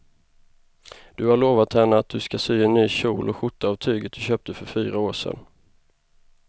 Du har lovat henne att du ska sy en kjol och skjorta av tyget du köpte för fyra år sedan.